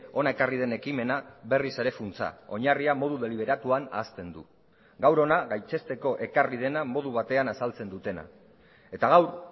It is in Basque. hona ekarri den ekimena berriz ere funtsa oinarria modu deliberatuan ahazten du gaur hona gaitzesteko ekarri dena modu batean azaltzen dutena eta gaur